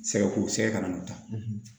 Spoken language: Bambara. Sɛgɛ ko sɛgɛ ka na o ta